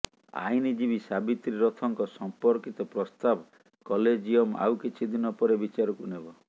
ଆଇନଜୀବୀ ସାବିତ୍ରୀ ରଥଙ୍କ ସଂପର୍କିତ ପ୍ରସ୍ତାବ କଲେଜିୟମ ଆଉ କିିଛି ଦିିନ ପରେ ବିିଚାରକୁ ନେବ